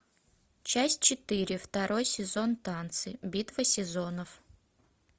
часть четыре второй сезон танцы битва сезонов